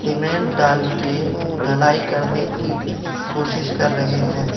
Cement डाल के ढलाई करने की कोशिश कर रहे हैं।